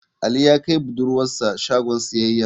Ali ya kai budurwar sa shagon siyayya.